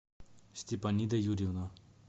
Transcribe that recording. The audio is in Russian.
степанида юрьевна